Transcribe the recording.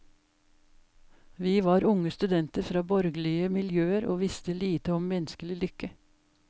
Vi var unge studenter fra borgerlige miljøer og visste lite om menneskelig lykke.